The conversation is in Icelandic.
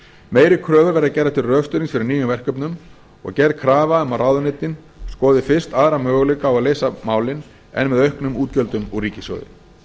meiri kröfur verða gerðar til rökstuðnings fyrir nýjum verkefnum og gerð krafa um að ráðuneytin skoði fyrst aðra möguleika á að leysa málin en með auknum útgjöldum úr ríkissjóði með